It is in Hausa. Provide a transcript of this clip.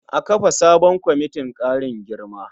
A kafa sabon kwamitin ƙarin girma.